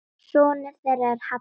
Sonur þeirra er Hallur.